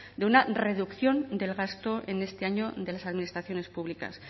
de una reducción del gasto en este año de las administraciones públicas